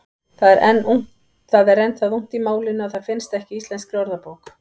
Það er enn það ungt í málinu að það finnst ekki í Íslenskri orðabók.